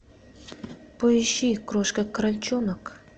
поищи крошка крольчонок